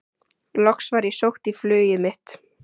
Loks var ég sótt í flugið mitt.